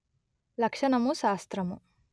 లక్షణము శాస్త్రము